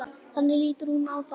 Þannig lítur hún á það.